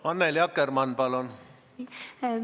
Annely Akkerman, palun!